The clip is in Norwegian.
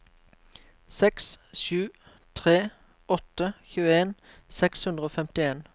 seks sju tre åtte tjueen seks hundre og femtien